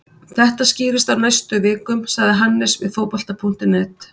Þetta skýrist á næstu vikum, sagði Hannes við Fótbolta.net.